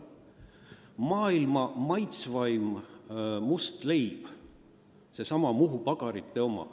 Maailma maitsvaim must leib on seesama Muhu Pagarite oma.